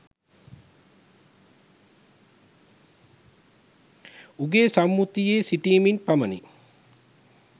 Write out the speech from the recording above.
උගේ සම්මුතියේ සිටිමින් පමණි